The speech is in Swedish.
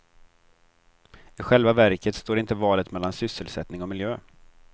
I själva verket står inte valet mellan sysselsättning och miljö.